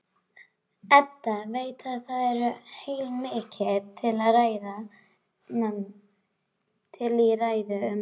Edda veit að það er heilmikið til í ræðu mömmu.